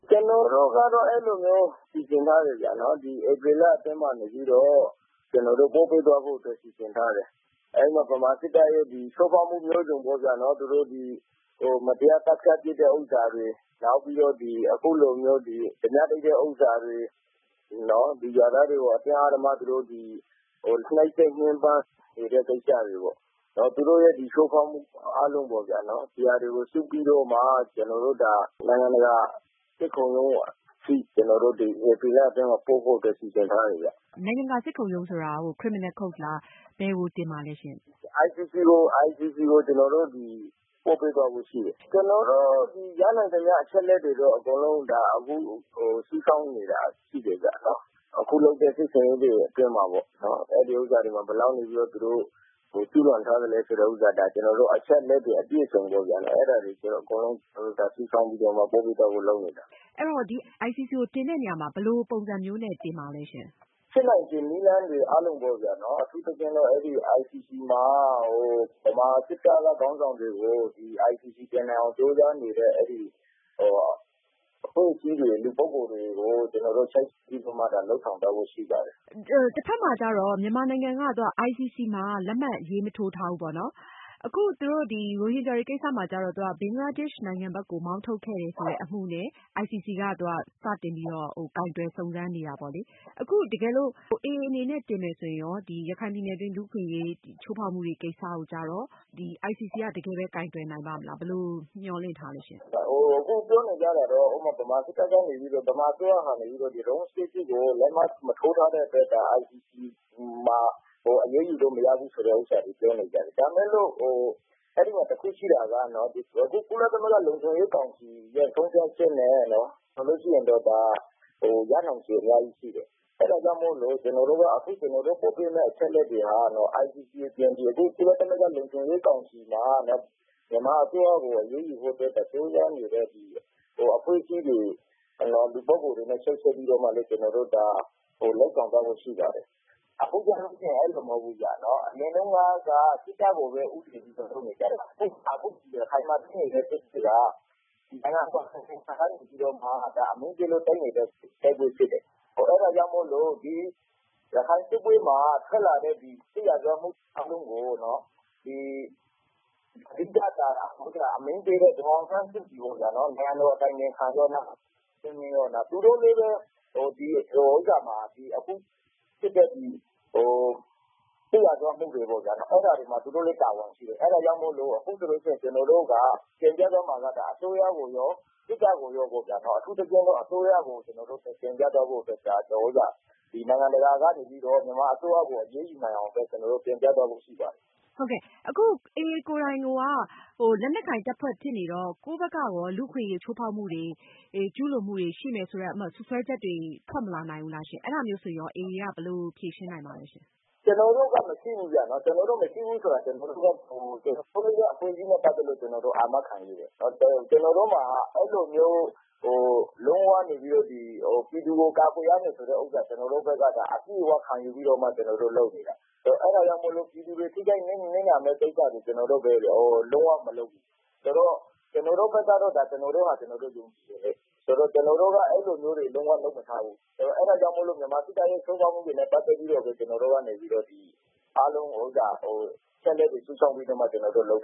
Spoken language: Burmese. ကျနော်တို့ကတော့ အဲလိုမျိုးတော့ စီစဉ်ထားတယ် ။ ဒီဧပြီလအတွင်းကနေပြီးတော့ ကျနော်တို့ ပို့ပေးသွားဖို့အတွက် စီစဉ်ထားတယ်။ အဲဒီမှာ မြန်မာစစ်တပ်ရဲ့ ချိုးဖောက်မှုမျိုးစုံပေါ့နော်။ သူတို့ မတရားသတ်ဖြတ်တာတွေ နောက်ပြီးတော့ အခုလိုမျိုး ဓါးပြတိုက်တဲ့ ဟာတွေ နောက်ပြီးတော့ ရွာသားတွေကို သူတို့ နှိတ်စက်ညှင်းပမ်းနေတာတွေ ဒီ သူတို့ ချိုးဖောက်မှုအားလုံးပေ့ါနော်။ ဒါတွေကို စုပြီးတော့မှ ကျနော်တို့ နိုင်ငံတကာ စစ်ခုံရုံးအထိ ကျနော်တို့ ဧပြီလအတွင်းမှာ ပို့ဖို့ စီစဉ်ထားတယ်ခင်ဗျ။ မအင်ကြင်းနိုင်။ ။ နိုင်ငံတကာ စစ်ခုံရုံးဆိုတာက Criminal court လား ဘယ်ကို တင်မှာလည်းရှင့်။ ခိုင်သူခ။ ။ ICC ကို ကျနော်တို့ ပို့ပေးသွားဖို့ ရှိတယ် ကျနော်တို့ ရနိုင်သမျှ အချက်အလက်တွေတော့ အကုန်လုံး စုဆောင်းနေတာရှိတယ် အခုလုပ်တဲ့ စစ်ဆင်ရေးတွေအတွင်းမှာ သူတို့ကနေပြီးတော့ ဘယ်လောက် ကျူးလွန်ထားသလဲဆိုတာကို ကျနော်တို့ အချက်အလက်တွေအပြည့်အစုံ အဲဒါကို ကျနော်တို့ စုဆောင်ပြီးတော့ ပို့ဖို့လုပ်နေတာ။ မအင်ကြင်းနိုင်။ ။ ICC ကို တင်တဲ့နေရာမှာ ဘယ်လိုပုံစံမျိုးနဲ့ တင်မလဲရှင့်။ ခိုင်သူခ။ ။ ဖြစ်နိုင်ခြေနည်းလမ်းတွေအားလုံးပေ့ါဗျာ အထူးသဖြင့်ကတော့ ICC မှာ မြန်မာစစ်တပ်ခေါင်းဆောင်တွေကို ICC ကို တင်နိုင်အောင်ကြိုးစားနေတဲ့ အဖွဲ့အစည်းတွေ လူပုဂ္ဂိုလ်တွေကို ကျနော်တို့ ချိတ်ဆက်ပြီးတော့ လုပ်ဆောင်သွားဖို့ ရှိပါတယ်။ မအင်ကြင်းနိုင်။ ။တဖက်မှာတော့ မြန်မာနိုင်ငံက ICC မှာ လက်မှတ်မရေးထိုးထားဘူးပေါ့နော်။ အခု ဒီ ရိုဟင်ဂျာကိစ္စမှာတော့ ဘင်္ဂလားဒေ့ရှ်နိုင်ငံဘက်ကို မောင်းထုတ်ခဲ့တယ်ဆိုတဲ့ အမှုနဲ့ ICC က စတင်ပြီးတော့ ကိုင်တွယ်စုံစမ်းနေတာပေါ့နော်။ အခုတကယ်လို့ AA အနေနဲ့ တင်မယ်ဆိုရင်ရော ရခိုင်ပြည်နယ်အတွင်း လူ့အခွင့်အရေး ချိုးဖောက်မှုတွေကိစ္စကျတော့ ICC က တကယ်ပဲ ကိုင်တွယ်နိုင်ပါ့မလား ဘယ်လို မျှော်လင့်ထားသလဲရှင့်။ ခိုင်သူခ။ ။ အခုပြောနေတာကတော့ မြန်မာစစ်တပ်ကနေပြီးတော့မှ ဒီ လက်မှတ်မထိုးထားတဲ့အတွက် ICC မှာ အရေးယူလို့မရဘူးဆိုတဲ့ဟာပြောနေတယ် ဒါပေမယ့်လို့ အဲဒီမှာတခုရှိတာက ကုလသမဂ္ဂလုံခြုံရေးကောင်စီ ဆုံးဖြတ်ချက်နဲ့ ဆိုရင်တော့ ဒါရနိုင်ခြေအများကြီးရှိတယ် အဲဒါကြောင့်မို့လို့ ကျနော်တို့ ပို့ပေးမယ့် အချက်အလက်တွေက ICC အပြင် ကုလသမဂ္ဂ လုံခြုံရေးကောင်စီမှာ မြန်မာအစိုးရကို အရေးယူဖို့အတွက် ကြိုးပမ်းနေတဲ့ အဖွဲ့အစည်းတွေလူပုဂ္ဂိုလ်တွေနဲ့ ချိတ်ဆက်ပြီးတော့မှ လုပ်ဆောင်သွားဖို့ရှိတယ်။ အခုကတော့ အရင်ကလိုမဟုတ်ဘူး။ အရင်တုန်းကတော့ စစ်တပ်ကိုပဲ ဦးတပ်လုပ်နေကြတာ။ အခုရခိုင်မှာ ဖြစ်နေတဲ့ ဖြစ်စဉ်က အမုန်းနဲ့ တိုက်နေတဲ့ တိုက်ပွဲဖြစ်တယ်။ အဲဒါကြောင့်မို့လို့ ရခိုင်စစ်ပွဲမှာ ထွက်လာတဲ့ စစ်ရာဇဝတ်မှုအားလုံးကို အဓိကတာဝန်ရှိတဲ့ ဒေါ်အောင်ဆန်းစုကြည် နိုင်ငံတော်အတိုင်ပင်ခံရော၊ သူတို့လည်း အခုဖြစ်တဲ့ ဒီဥစ္စာမှာ စစ်ရာဇဝတ်မှုတွေမှာတာဝန်ရှိတယ် အဲဒါကြောင့်မို့လို့ အခုတင်ပြမှာက အစိုးရကိုရော စစ်တပ်ကိုရော အထူးသဖြင့်တော့ အစိုးရ ။ ကျနော်တို့ နိုင်ငံတကာကနေပြီးတော့ မြန်မာအစိုးရကို အရေးယူနိုင်အောင် ကျနော်တို့ တင်ပြသွားဖို့ ရှိပါတယ်။ မအင်ကြင်းနိုင်။ ။ အခု AA ကိုယ်တိုင်က လက်နက်ကိုင်တပ်ဖွဲ့ဖြစ်နေတော့ ကိုယ့်ဘက်ကရော လူ့အခွင့်အရေးချိုးဖောက်မှုတွေ ၊ ကျူးလွန်မှုတွေ ရှိမယ်ဆိုတဲ့ စွပ်စွဲချက်တွေ ထွက်မလာနိုင်ဘူးလားရှင့်။အဲဒါမျိုးဆိုရင်ရော AA ဘက်က ဘယ်လိုဖြေရှင်းနိုင်မလဲ။ ခိုင်သူခ။ ။ ကျနော်တို့ကတော့ မရှိဘူးဗျ။ ကျနော်တို့မရှိဘူးဆိုတာက ကျနော်တို့ အဖွဲ့အစည်းနဲ့ ပတ်သက်လို့ ကျနော်တို့ အာမခံရဲတယ်။ ကျနော်တို့မှာက အဲလိုမျိုးကနေပြီးတော့ ပြည်သူကို ကာကွယ်ရမယ်ဆိုတဲ့ဟာ ကျနော်တို့ အပြည့်အ၀ ခံယူပြီးတော့မှ ကျနော်တို့လုပ်နေတာ အဲဒါကြောင့်မို့လို့ ပြည်သူတွေ ထိခိုက်နစ်နာမယ့်ကိစ္စတွေ ကျနော်တို့ လုံးဝမလုပ်ဘူး ဆိုတော့ ကျနော်တို့ဘက်ကတော့ ကျနော်တို့ဟာ ကျနော်တို့ ယုံကြည်တယ်။ ဆိုတော့ ကျနော်တို့က အဲလိုမျိုးတွေ လုံးဝမလုပ်ထားဘူး။ အဲဒါကြောင့်မို့လို့ မြန်မာစစ်တပ်ရဲ့ ချိုးဖောက်မှုတွေနဲ့ ပတ်သက်လို့ ကျနော်တို့ကနေ အားလုံးကို အချက်အလက်တွေ စုဆောင်းပြီးတော့မှ ကျနော်တို့လုပ်